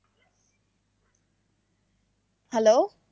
hello